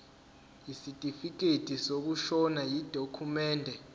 isitifikedi sokushona yidokhumende